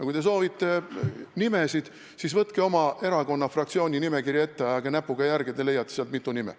Kui te soovite nimesid, siis võtke oma fraktsiooni nimekiri ette ja ajage näpuga järge, te leiate sealt mitu nime.